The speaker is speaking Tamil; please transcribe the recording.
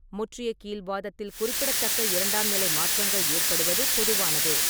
முற்றிய கீல்வாதத்தில் குறிப்பிடத்தக்க இரண்டாம்நிலை மாற்றங்கள் ஏற்படுவது பொதுவானதே.